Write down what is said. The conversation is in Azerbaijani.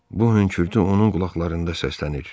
Bu hönkürtü onun qulaqlarında səslənir.